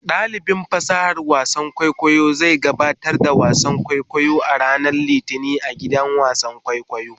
Dalibin fasahar wasan kwaikwayo zai gabatar da wasan kwaikwayo a ranar Litinin a gidan wasan kwaikwayo.